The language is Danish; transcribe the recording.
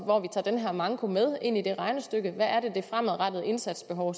tager den her manko ind i det regnestykke hvad det fremadrettede indsatsbehov